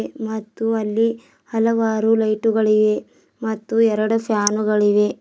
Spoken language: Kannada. ಮತ್ತು ಅಲ್ಲಿ ಹಲವಾರು ಲೈಟುಗಳಿವೆ ಮತ್ತು ಎರಡು ಫ್ಯಾನುಗಳಿವೆ.